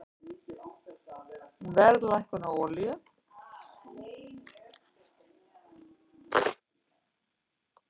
Verðlækkun á olíu